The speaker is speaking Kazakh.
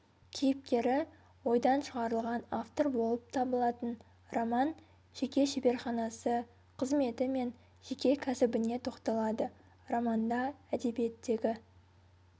кейіпкері ойдан шығарылған автор болып табылатын роман жеке шеберханасы қызметі мен жеке кәсібіне тоқталады романда әдебиеттегі